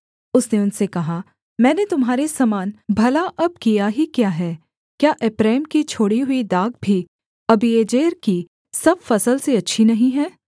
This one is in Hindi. उसने उनसे कहा मैंने तुम्हारे समान भला अब किया ही क्या है क्या एप्रैम की छोड़ी हुई दाख भी अबीएजेर की सब फसल से अच्छी नहीं है